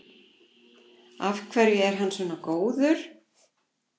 Af hverju er hann svona góður?